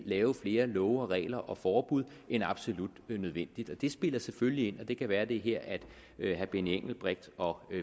lave flere love og regler og forbud end absolut nødvendigt det spiller selvfølgelig ind og det kan være at det er her at herre benny engelbrecht og